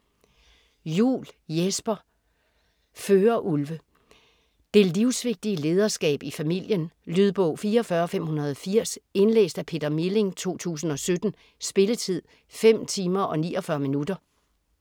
Juul, Jesper: Førerulve Det livsvigtige lederskab i familien. Lydbog 44580 Indlæst af Peter Milling, 2017. Spilletid: 5 timer, 49 minutter.